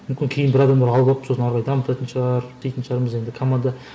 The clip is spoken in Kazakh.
мүмкін кейін бір адамдар алып алып сосын ары қарай дамытатын шығар дейтін шығармыз енді команда